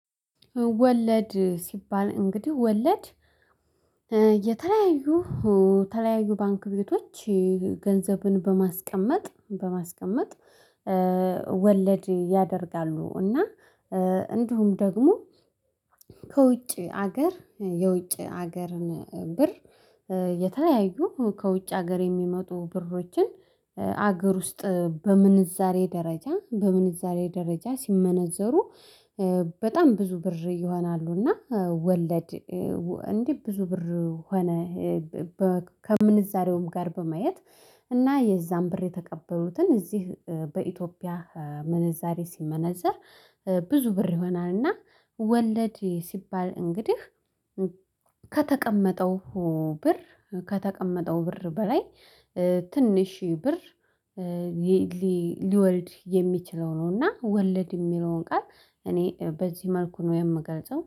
ወለድ ሲባል እንግዲህ ወለድ የተለያዩ የተለያዩ ባንክ ቤቶች ገንዘብን በማስቀመጥ በማስቀመጥ ወለድ ያደርጋሉ እና እንዲሁም ደግሞ ከውጭ ሀገር የውጭ ሀገርን ብር የተለያዩ ከውጭ ሀገር የሚመጡ ብሮችን ሀገር ውስጥ በምንዛሬ ደረጃ በምንዛሬ ደረጃ ሲመነዘሩ በጣም ብዙ ብር ይሆናሉ። እና ወለድ እንዲህ ብዙ ብር ሆነ ከምንዛሬውም ጋር በማየት እና የዛን ብር የተቀበሉትን እዚህ በኢትዮጵያ ምንዛሬ ሲመነዘር ብዙ ብር ይሆናልና። ወለድ ሲባል እንግዲህ ከተቀመጠው ብር ከተቀመጠው ብር በላይ ትንሽ ብር ሊወርድ የሚችለው ነው። እና ወለድ የሚለውን ቃል እኔ በዚህ መልኩ ነው የምገልጸው